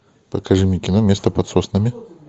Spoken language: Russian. покажи мне кино место под соснами